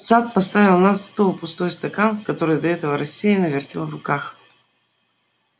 сатт поставил на стол пустой стакан который до этого рассеянно вертел в руках